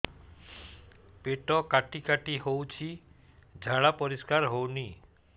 ପେଟ କାଟି କାଟି ହଉଚି ଝାଡା ପରିସ୍କାର ହଉନି